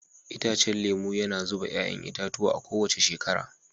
Itacen lemu yana zuba 'ya'ya itatuwa a kowace shekara.